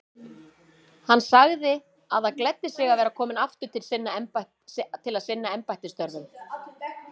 Hann sagði það gleddi sig að vera kominn aftur til að sinna embættisstörfum.